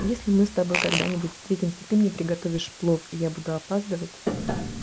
если мы с тобой когда-нибудь встретимся ты мне приготовишь плов и я буду опаздывать